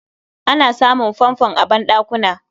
Ana samun Fanfon a banɗakuna